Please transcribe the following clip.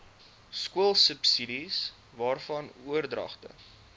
skoolsubsidies waarvan oordragte